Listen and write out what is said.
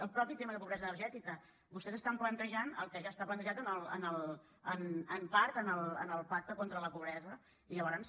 el mateix tema de pobresa energètica vostès estan plantejant el que ja està plantejat en part en el pacte contra la pobresa i llavors